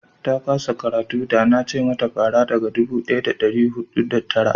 ta kasa karatu da na ce mata fara daga dubu daya da dari hudu da tara